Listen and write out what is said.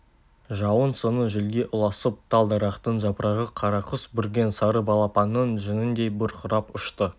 жауын соңы желге ұласып тал-дарақтын жапырағы қарақұс бүрген сары балапанның жүніндей бұрқырап ұшты